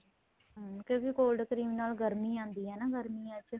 ਹਮ ਕਿਉਂਕਿ cold cream ਨਾਲ ਗਰਮੀ ਆਂਦੀ ਏ ਗਰਮੀਂਆਂ ਚ